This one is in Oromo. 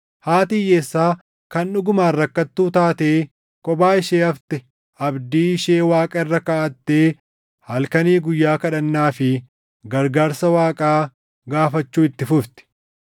Haati hiyyeessaa kan dhugumaan rakkattuu taatee kophaa ishee hafte abdii ishee Waaqa irra kaaʼattee halkanii guyyaa kadhannaa fi gargaarsa Waaqaa gaafachuu itti fufti.